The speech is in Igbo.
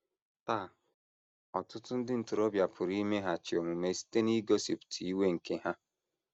Taa, ọtụtụ ndị ntorobịa pụrụ imeghachi omume site n’igosipụta iwe nke ha.